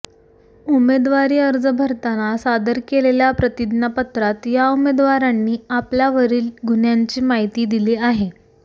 उमेदवारी अर्ज भरताना सादर केलेल्या प्रतिज्ञापत्रात या उमेदवारांनी आपल्यावरील गुह्यांची माहिती दिली आहे